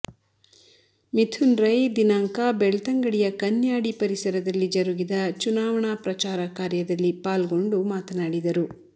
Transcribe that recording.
ಮಿಥುನ್ರೈ ದಿನಾಂಕ ಬೆಳ್ತಂಗಡಿಯ ಕನ್ಯಾಡಿ ಪರಿಸರದಲ್ಲಿ ಜರಗಿದಚುನಾವಣಾ ಪ್ರಚಾರ ಕಾರ್ಯದಲ್ಲಿ ಪಾಲ್ಗೊಂಡು ಮಾತನಾಡಿದರು